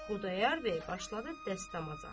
Xudayar bəy başladı dəstəmaza.